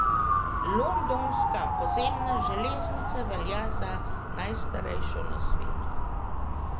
Londonska podzemna železnica velja za najstarejšo na svetu.